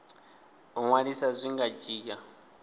u ṅwalisa zwi nga dzhia